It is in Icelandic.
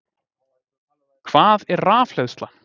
Hvað er rafhleðsla?